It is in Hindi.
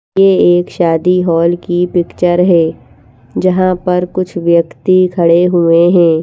यह एक शादी हॉल की पिक्चर है जहां पर कुछ व्यक्ति खड़े हुए हैं।